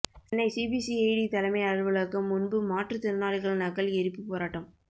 Chennai CBCID தலைமை அலுவலகம் முன்பு மாற்றுத்திறனாளிகள் நகல் எரிப்பு போராட்டம்